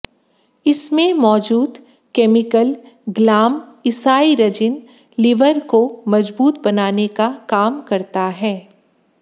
इसमें मौजूद chemical glycyrrhizin liver को मजबूत बनाने का काम करता है